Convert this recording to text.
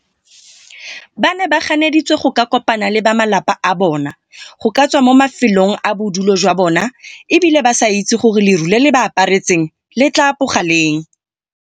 Ba ne ba kganeditswe go ka kopana le ba malapa a bona, go ka tswa mo mafelong a bodulo jwa bona e bile ba sa itse gore leru le le ba aparetseng le tla apoga leng.